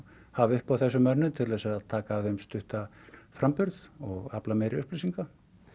hafa upp á þessum mönnum til þess að taka af þeim stuttan framburð og afla meiri upplýsinga